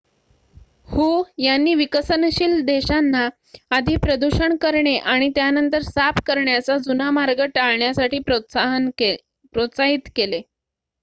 "हू यांनी विकसनशील देशांना "आधी प्रदूषण करणे आणि त्यानंतर साफ करण्याचा जुना मार्ग टाळण्यासाठी" प्रोत्साहित केले.